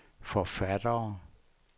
forfattere